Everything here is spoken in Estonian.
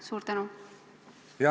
Suur tänu!